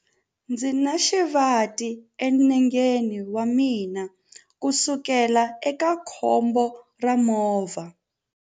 Ndzi na xivati enengeni wa mina kusukela eka khombo ra movha.